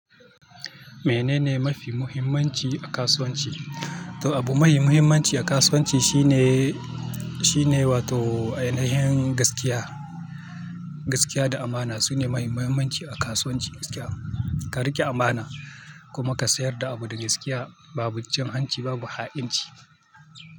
Menene mafi muhimmanci a kasuwanci? Toh abu mafi muhimmanci a kasuwanci shine, shine wato ainihin gaskiya, gaskiya da amana sune mafi muhimmanci a kasuwanci gaskiya. Ka riƙe amana kuma ka sayar da abu da gaskiya babu jin hanci babu ha'inci.